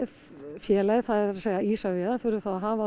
félagið það er að segja Isavia þurfi þá að hafa